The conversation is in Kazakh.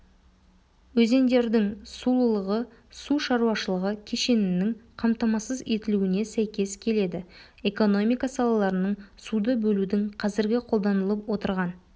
өзендердің сулылығы су шаруашылығы кешенінің қамтамасыз етілуіне сәйкес келеді экономика салаларының суды бөлудің қазіргі қолданылып отырған